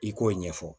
I k'o ɲɛfɔ